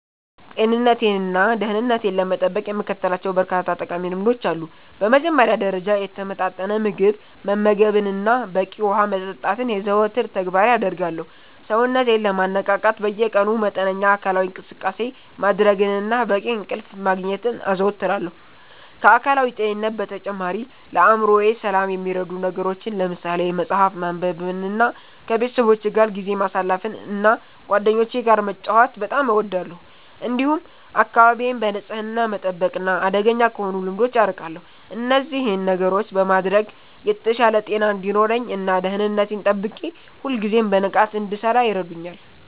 ጤንነቴንና ደህንነቴን ለመጠበቅ የምከተላቸው በርካታ ጠቃሚ ልምዶች አሉ። በመጀመሪያ ደረጃ፣ የተመጣጠነ ምግብ መመገብንና በቂ ውሃ መጠጣትን የዘወትር ተግባሬ አደርጋለሁ። ሰውነቴን ለማነቃቃት በየቀኑ መጠነኛ አካላዊ እንቅስቃሴ ማድረግንና በቂ እንቅልፍ ማግኘትን አዘወትራለሁ። ከአካላዊ ጤንነት በተጨማሪ፣ ለአእምሮዬ ሰላም የሚረዱ ነገሮችን ለምሳሌ መጽሐፍ ማንበብንና ከቤተሰቦቼ ጋር ጊዜ ማሳለፍን እና ጓደኞቼ ጋር መጫወት በጣም እወዳለሁ። እንዲሁም አካባቢዬን በንጽህና መጠበቅና አደገኛ ከሆኑ ልምዶች አርቃለሁ። እነዚህን ነገሮች በማድረግ የተሻለ ጤና እንዲኖረኝ እና ደህንነቴን ጠብቄ ሁልጊዜም በንቃት እንድሠራ ይረዱኛል።